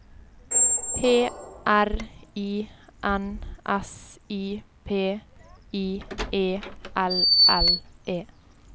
P R I N S I P I E L L E